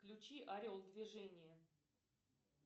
включи орел движение